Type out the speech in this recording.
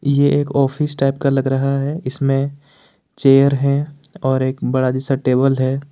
ये एक office type का लग रहा है इसमें चेयर है और एक बड़ा जैसा टेबल है।